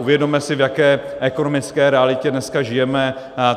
Uvědomme si, v jaké ekonomické realitě dneska žijeme.